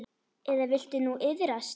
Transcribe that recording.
Eða viltu nú iðrast?